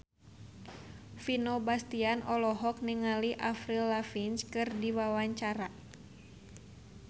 Vino Bastian olohok ningali Avril Lavigne keur diwawancara